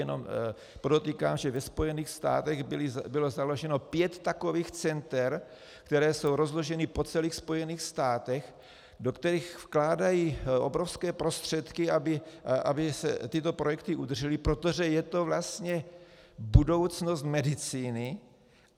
Jenom podotýkám, že ve Spojených státech bylo založeno pět takových center, která jsou rozložena po celých Spojených státech, do kterých vkládají obrovské prostředky, aby se tyto projekty udržely, protože je to vlastně budoucnost medicíny.